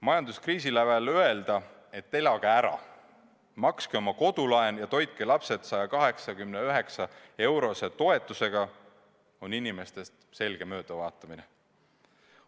Majanduskriisi lävel öelda, et elage ära, makske oma kodulaen ja toitke lapsed 189-eurose toetusega, on inimestest selge möödavaatamine.